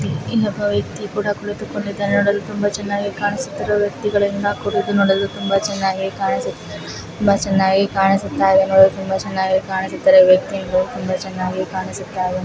ಇಲ್ಲಿ ಒಬ್ಬ ವ್ಯಕ್ತಿ ಕೂಡ ಕುಳಿತುಕೊಂಡು ನೋಡಲು ತುಂಬಾ ಚನ್ನಾಗಿ ಕಾನುಸುತ್ತಿರುವ ವ್ಯತಿಗಳಿಂದ ಕೂಡಿದೆ ನೋಡಲು ತುಂಬಾ ಚನ್ನಾಗಿ ಕಾಣಿಸುತ್ತಿದೆ ತುಂಬಾ ಚನ್ನಾಗಿ ಕಾಣಿಸುತ್ತಾಯಿದೆ ನೋಡಲು ತುಂಬಾ ಚನ್ನಾಗಿ ಕಾಣಿಸುತ್ತಾಯಿದೆ ವ್ಯಕ್ತಿ ತುಂಬಾ ಚನ್ನಾಗಿ ಕಾಣಿಸುತ್ತಿದೆ.